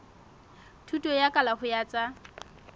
thuto ya kalafo ya tsa